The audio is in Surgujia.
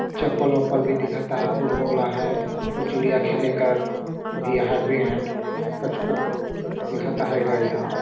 चप्पल उप्पल भी दिखत आहै फुटबॉल अहाय और चिड़िया खेले कर भी आहै बेट कछु-कछु भी दिखत अहाय गा इहा--